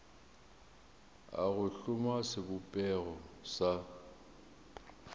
a go hloma sebopego sa